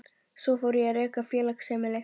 Svo fór ég að reka félagsheimili.